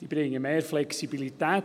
Er bringt mehr Flexibilität